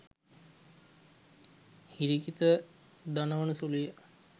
හිරිකිත දනවන සුළු ය.